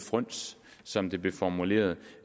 fryns som det blev formuleret